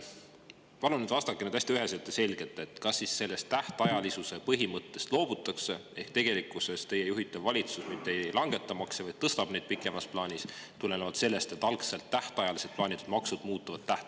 Palun vastake hästi üheselt ja selgelt, kas siis sellest tähtajalisuse põhimõttest loobutakse ehk teie juhitav valitsus mitte ei langeta makse, vaid tõstab neid pikemas plaanis tulenevalt sellest, et algselt tähtajalisena plaanitud maksud muutuvad tähtajatuks.